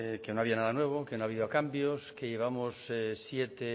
que no había nada nuevo que no ha habido cambios que llevamos siete